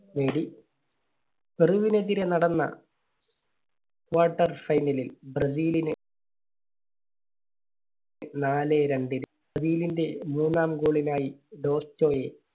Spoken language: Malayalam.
നേടി പെറുവിനെതിരെ നടന്ന quarter final ലിൽ ബ്രസീലിന് നാലേ രണ്ടിന് ബ്രസീലിന്റെ മൂന്നാം goal നായി ഡോസ്റ്റോയെ